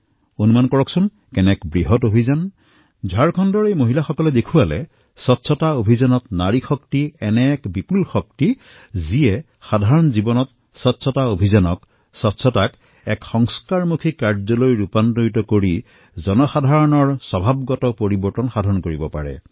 আপুনি কল্পনা কৰিব পাৰে যে এয়া কিমান ডাঙৰ এটা পৰিঘটনা ঝাৰখণ্ডৰ এই মহিলাসকলে দেখুৱালে যে নাৰী শক্তি স্বচ্ছ ভাৰত অভিযান এনেকুৱা এক শক্তি যত সাধাৰণ জীৱনত স্বচ্ছতা অভিযানক স্বচ্ছতা সংস্কাৰক কাৰ্যকৰী ধৰণে জনসাধাৰণৰ স্বভাৱলৈ পৰিণত কৰিব পাৰি